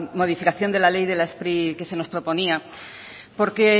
modificación de la ley de la spri que se nos proponía porque